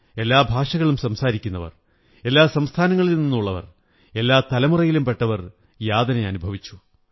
എല്ലാ ഭാഷകളും സംസാരിക്കുന്നവർ എല്ലാ സംസ്ഥാനങ്ങളിലും നിന്നുള്ളവർ എല്ലാ തലമുറയിലും പെട്ടവർ യാതനകൾ അനുഭവിച്ചു